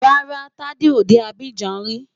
Rárá, Tádé ò dé Abidjan rí.